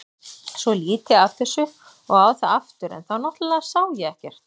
Svo lít ég af þessu og á það aftur en þá náttúrlega sá ég ekkert.